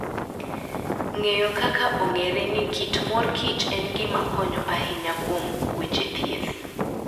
Ng'eyo kaka ong'ere ni kit mor kich en gima konyo ahinya kuom weche thieth.